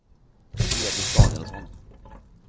Elis Danielsson